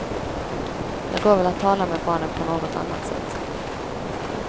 Det går väl att tala med barnen på något annat sätt.